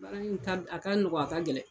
Baara in a ka nɔgɔya, a ka gɛlɛn